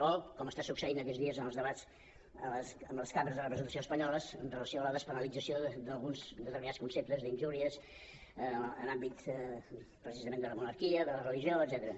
o com està succeint aquests dies en els debats a les cambres de representació espanyoles amb relació a la despenalització d’alguns determinats conceptes d’injúries en àmbit precisament de la monarquia de la religió etcètera